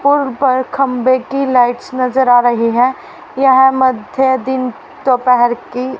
पोल पर खंभे की लाइट्स नजर आ रही है यह मध्य दिन दोपेहर की--